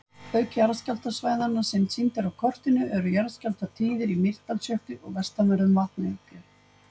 Auk jarðskjálftasvæðanna sem sýnd eru á kortinu eru jarðskjálftar tíðir í Mýrdalsjökli og vestanverðum Vatnajökli.